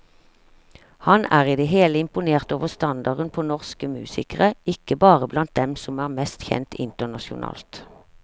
Han er i det hele imponert over standarden på norsk musikere, ikke bare blant dem som er mest kjent internasjonalt.